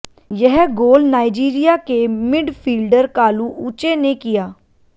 यह गोल नाइजीरिया के मिडफील्डर कालू उचे ने किया